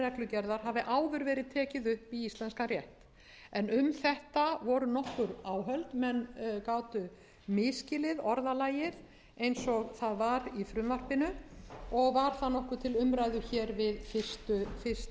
reglugerðar hafi verið tekið upp í íslenskan rétt en um þetta voru nokkur áhöld menn gátu misskilið orðalagið eins og það var í frumvarpinu og var það nokkuð til umræðu við fyrstu umræðu